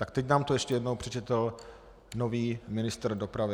Tak teď nám to ještě jednou přečetl nový ministr dopravy.